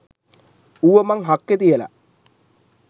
ඌව මන් හක්කේ තියල.